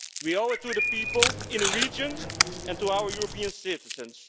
We owe it to the people in the region and to our European citizens.